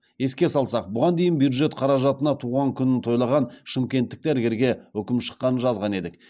еске салсақ бұған дейін бюджет қаражатына туған күнін тойлаған шымкенттік дәрігерге үкім шыққанын жазған едік